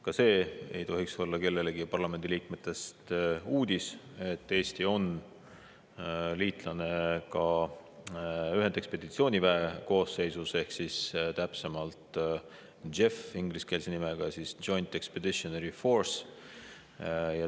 Ka see ei tohiks olla kellelegi parlamendi liikmetest uudis, et Eesti on liitlane ka ühendekspeditsiooniväe koosseisus, mille täpne ingliskeelne nimi on Joint Expeditionary Force ehk JEF.